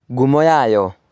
Ngumo yayo